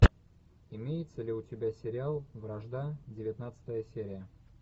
имеется ли у тебя сериал вражда девятнадцатая серия